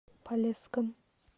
полесском